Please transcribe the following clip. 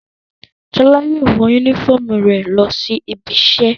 Ṣọlá yóò wọ únífọ́ọ́mù rẹ̀ lọ sí ibiṣẹ́.